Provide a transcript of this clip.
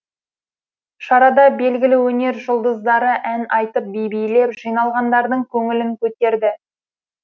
шарада белгілі өнер жұлдыздары ән айтып би билеп жиналғандардың көңілін көтерді